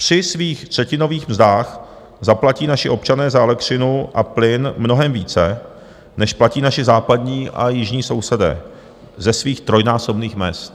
Při svých třetinových mzdách zaplatí naši občané za elektřinu a plyn mnohem více, než platí naši západní a jižní sousedé ze svých trojnásobných mezd.